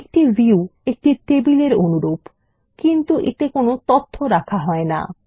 একটি ভিউ একটা টেবিল এর অনুরূপ কিন্তু এতে তথ্য রাখা হয় না